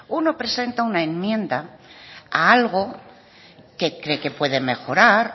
uno presenta una enmienda a algo que cree que puede mejorar